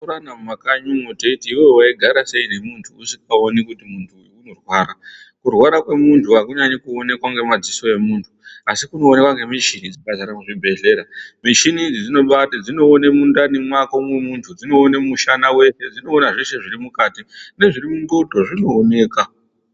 Tinoburana mumakanyi umwo, teiti iwewe waigara sei nemuntu usikaoni kuti muntu uyu unorwara. Kurwara kwemuntu akunyanyi kuonekwa ngemadziso emuntu. Asi kunoonekwa ngemuchini dzakadzara muzvibhedhlera. Muchini idzi dzinoba, dzinoone mundani mwako mwemuntu , dzinoone mushana wako weshe, dzinoona zveshe zvirimukati nezvirimundxondo zvinooneka.